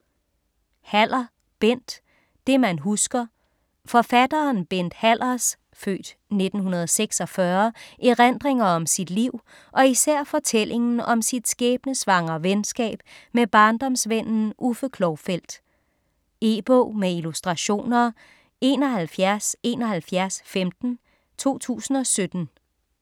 Haller, Bent: Det man husker Forfatteren Bent Hallers (f. 1946) erindringer om sit liv og især fortællingen om sit skæbnesvangre venskab med barndomsvennen Uffe Klovfeldt. E-bog med illustrationer 717115 2017.